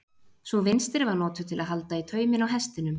Sú vinstri var notuð til að halda í tauminn á hestinum.